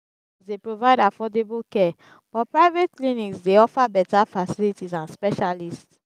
dey provide affordable care but private clinics dey offer beta facilities and specialists.